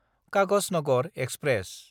Kagaznagar express